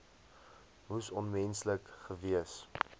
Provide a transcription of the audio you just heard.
moes onmenslik gewees